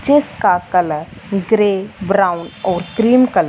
जी का colour grey brown और cream कल--